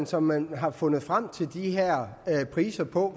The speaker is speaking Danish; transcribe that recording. som man har fundet frem til de her priser på